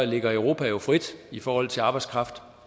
ligger europa jo frit i forhold til arbejdskraft